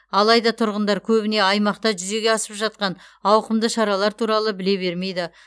алайда тұрғындар көбіне аймақта жүзеге асып жатқан ауқымды шаралар туралы біле бермейді